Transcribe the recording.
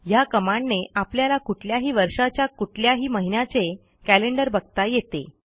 ह्या कमांडने आपल्याला कुठल्याही वर्षाच्या कुठल्याही महिन्याचे कॅलेंडर बघता येते